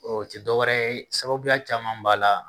O tɛ dɔwɛrɛ ye sababuya caman min b'a la